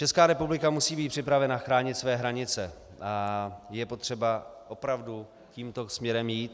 Česká republika musí být připravena chránit své hranice a je potřeba opravdu tímto směrem jít.